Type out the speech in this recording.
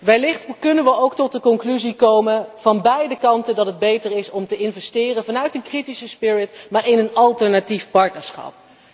Wellicht kunnen we ook tot de conclusie komen van beide kanten dat het beter is om te investeren vanuit een kritische spirit in een alternatief partnerschap.